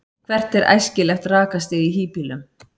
hvert er æskilegt rakastig í hýbýlum